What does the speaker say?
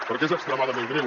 perquè és extremadament greu